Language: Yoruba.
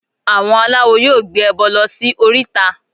Àwọn aláwo yóò gbé ẹbọ lọ sí oríta